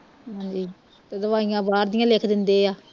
ਹਾਂਜੀ ਤੇ ਦਵਾਈਆਂ ਬਾਹਰ ਦੀਆਂ ਲਿਖ ਦਿੰਦੇ ਆ